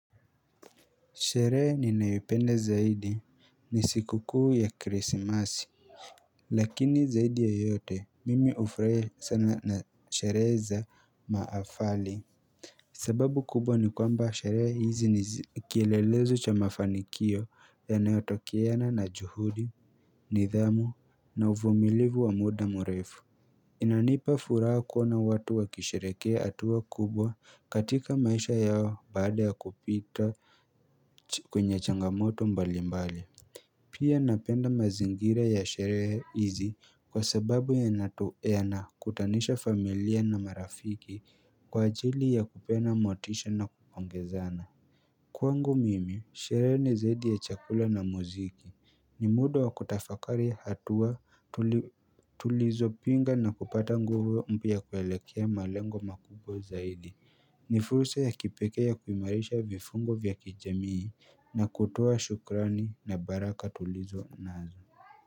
Sherehe ninayoipenda zaidi ni siku kuu ya krisimasi Lakini zaidi ya yote mimi hufrahia sana na sherehe za maafali sababu kubwa ni kwamba sherehe hizi ni kielelezo cha mafanikio yanayotokeana na juhudi nidhamu na uvumilivu wa muda murefu inanipa furaha kuona watu wakisherehekea hatua kubwa katika maisha yao baada ya kupita kwenye changamoto mbali mbali pia napenda mazingira ya sherehe hizi kwa sababu yana kutanisha familia na marafiki kwa ajili ya kupeana motisha na kupongezana Kwangu mimi, sherehe ni zaidi ya chakula na muziki, ni muda wa kutafakari hatua tulizopinga na kupata nguvu mpya ya kuelekea malengo makubwa zaidi ni fursa ya kipekee ya kuimarisha vifungo vya kijamii na kutoa shukrani na baraka tulizo nazo.